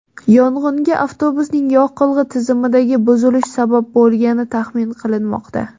Yong‘inga avtobusning yoqilg‘i tizimidagi buzilish sabab bo‘lgani taxmin qilinmoqda.